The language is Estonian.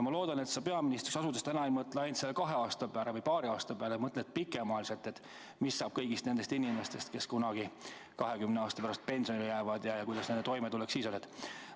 Ma loodan, et sa peaministriks asudes ei mõtle ainult paari ees oleva aasta peale, vaid mõtled pikemaajaliselt, mis saab kõigist nendest inimestest, kes kunagi 20 aasta pärast pensionile jäävad, kuidas nad toime tulevad.